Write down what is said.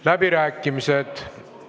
Läbirääkimised.